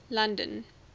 london